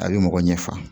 A bɛ mɔgɔ ɲɛfa